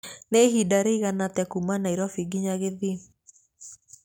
Nĩ ihinda rĩigana atĩa kuuma Nairobi nginya Kisii?